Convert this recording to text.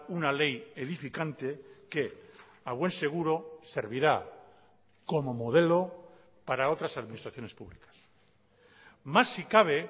una ley edificante que a buen seguro servirá como modelo para otras administraciones públicas más si cabe